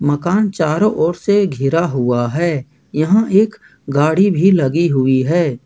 मकान चारों ओर से घिरा हुआ है यहां एक गाड़ी भी लगी हुई है।